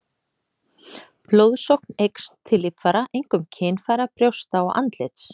Blóðsókn eykst til líffæra, einkum kynfæra, brjósta og andlits.